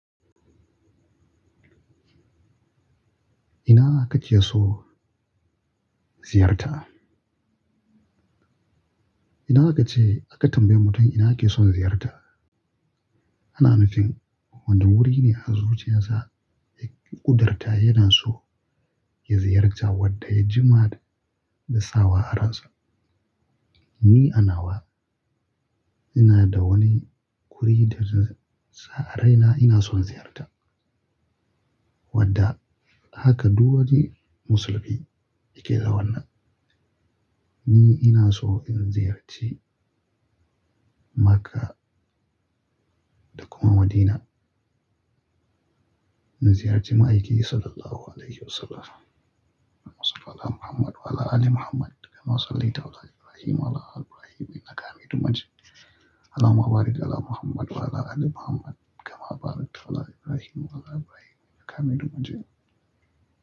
Ina kake so ziyarta? Idan akace, aka tambaye mutum ina yake son ziyarta, Ana nufin wani wuri ne a zuciyarsa, ya ƙudarta yana so ya ziyarta wanda ya jima da sawa a ransa. Ni anawa, ina da wani wuri da na sa a raina ina son ziyarta. Wanda haka duk wani musulmi yake da wannan. Ni ina so in ziyarci Makkah da kuma Madina. In ziyarci ma'aiki Sallallahu Alaihi Wasallam. Allahumma salli 'ala Muhammad wa'ala aali Muhammad kama sallaita ala Ibrahim wa ala aali Ibrahim innaka Hameedun Majeed Allahumma barik 'ala Muhammad wa'ala aali Muhammad, kama barakta ala Ibrahim wa'ala aali Ibrahim innaka Hameedun Majeed.